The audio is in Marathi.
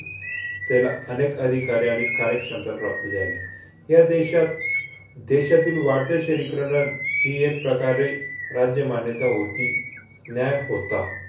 त्याला अनेक अधिकारी आणि कार्यक्षमता प्राप्त झाले. ह्या देशात देशातील वाढते शहरीकरणात हि एक प्रकारे राज्यमान्यता होती, न्याय होता.